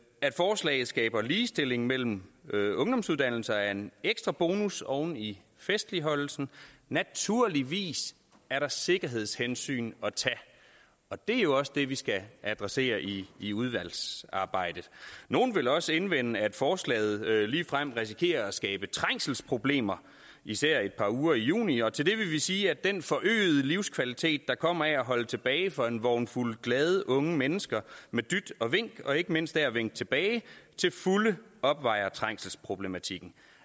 at forslaget skaber ligestilling mellem ungdomsuddannelser er en ekstra bonus oven i festligholdelsen naturligvis er der sikkerhedshensyn at tage og det er jo også det vi skal adressere i i udvalgsarbejdet nogle vil også indvende at forslaget ligefrem risikerer at skabe trængselsproblemer især et par uger i juni og til det vil vi sige at den forøgede livskvalitet der kommer af at holde tilbage for en vognfuld glade unge mennesker med dyt og vink og ikke mindst af at vinke tilbage til fulde opvejer trængselsproblematikken